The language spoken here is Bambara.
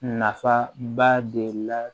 Nafa ba de la